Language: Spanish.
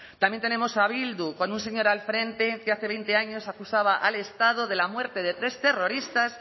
también tenemos a bildu con un señor al frente que hace veinte años acusaba al estado de la muerte de tres terroristas